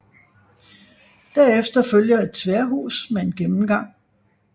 Derefter følger et tværhus med en gennemgang